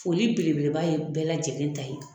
Foli belebeleba ye bɛɛ lajɛlen ta ye